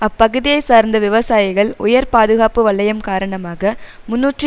அப்பகுதியைச் சார்ந்த விவசாயிகள் உயர் பாதுகாப்பு வலையம் காரணமாக முன்னூற்று